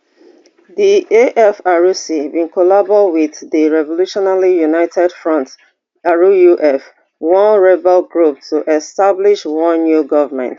di afrc bin collabo wit di revolutionary united front ruf one rebel group to establish one new government